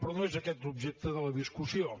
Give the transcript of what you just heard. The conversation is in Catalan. però no és aquest l’objecte de la discussió